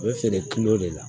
U bɛ feere de la